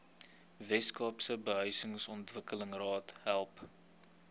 weskaapse behuisingsontwikkelingsraad help